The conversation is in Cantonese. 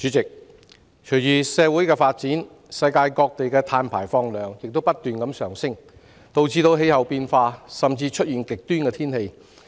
主席，隨着社會發展，世界各地的碳排放量不斷上升，導致氣候變化，甚至極端天氣。